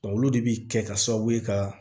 Olu de bi kɛ ka sababu ye ka